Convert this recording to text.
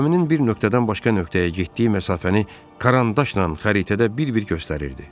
Gəminin bir nöqtədən başqa nöqtəyə getdiyi məsafəni karandaşla xəritədə bir-bir göstərirdi.